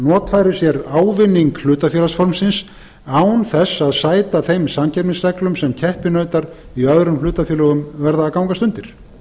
notfæri sér ávinning hlutafélagsformsins án þess að sæta þeim samkeppnisreglum sem keppinautar í öðrum hlutafélögum verða að gangast undir